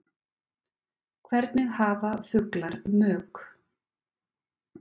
Hvernig hafa fuglar mök?